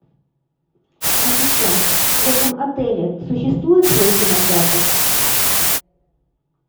ассистент в этом отеле существует свой кинотеатр